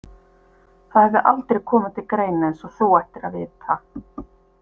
Það hefði aldrei komið til greina eins og þú ættir að vita.